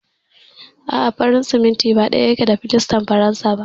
A'a, farin siminti ba ɗaya yake da filastar faransa ba.